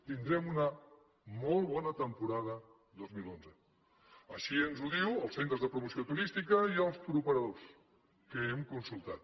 tindrem una molt bona temporada dos mil onze així ens ho diuen els centres de promoció turística i els touroperadors que hem consultat